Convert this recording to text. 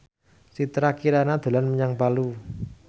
Citra Kirana dolan menyang Palu